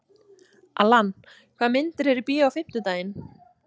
Allan, hvaða myndir eru í bíó á fimmtudaginn?